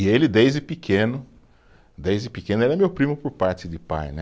E ele, desde pequeno, desde pequeno, ele é meu primo por parte de pai, né?